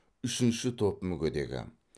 үшінші топ мүгедегі